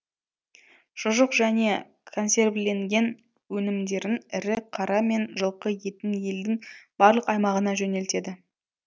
шұжық және консервіленген өнімдерін ірі қара мен жылқы етін елдің барлық аймағына жөнелтеді